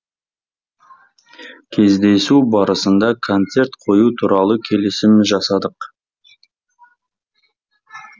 кездесу барысында концерт қою туралы келісім жасадық